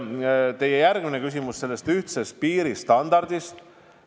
Teie järgmine küsimus oli ühtse piiristandardi kohta.